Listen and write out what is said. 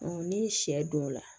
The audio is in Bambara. ni sɛ don o la